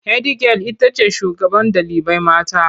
Hedigyal itace shugaban ɗalibai mata